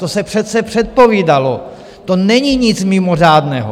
To se přece předpovídalo, to není nic mimořádného.